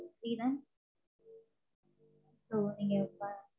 free தான். so நீங்க பா~